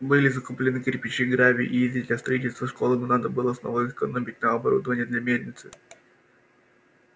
были закуплены кирпичи гравий и известь для строительства школы но надо было снова экономить на оборудование для мельницы